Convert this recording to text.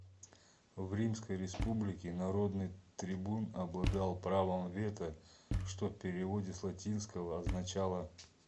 в римской республике народный трибун обладал правом вето что в переводе с латинского означало